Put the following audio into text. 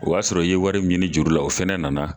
O y'a sɔrɔ i ye wari min ɲini juru la, o fɛnɛ nana